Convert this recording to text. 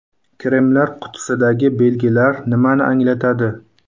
Kremlar qutisidagi belgilar nimani anglatadi?.